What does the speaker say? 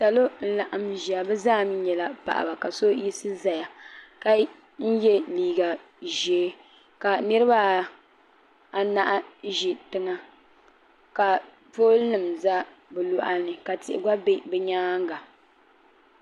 salo n ku laɣam ʒiya bi zaa nyɛla paɣaba ka so yiɣisi ʒɛya ka yɛ liiga ʒiɛ ka niraba anahi ʒi tiŋa ka pool nim ʒɛ bi loɣani ka tihi gba bɛ bi myaanga